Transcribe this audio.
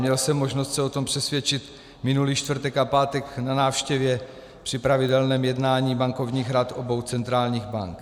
Měl jsem možnost se o tom přesvědčit minulý čtvrtek a pátek na návštěvě při pravidelném jednání bankovních rad obou centrálních bank.